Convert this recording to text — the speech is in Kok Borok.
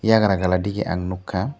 eiagra gali digi ang nugkka.